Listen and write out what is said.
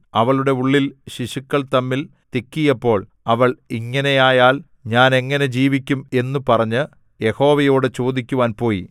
അവളുടെ ഉള്ളിൽ ശിശുക്കൾ തമ്മിൽ തിക്കിയപ്പോൾ അവൾ ഇങ്ങനെയായാൽ ഞാൻ എങ്ങനെ ജീവിക്കും എന്നു പറഞ്ഞ് യഹോവയോടു ചോദിക്കുവാൻ പോയി